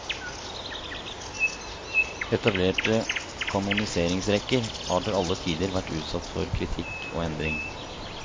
Etablerte kanoniseringsrekker har til alle tider vært utsatt for kritikk og endring.